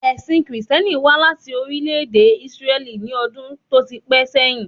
Ẹ̀sìn Kristẹni wà láti orílè èdè Isreli ni ọdún tó ti pẹ́ sẹ́yin